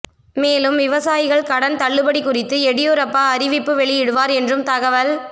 மேலும் விவசாயிகள் கடன் தள்ளுபடி குறித்து எடியூரப்பா அறிவிப்பு வெளியிடுவார் என்றும் தகவல்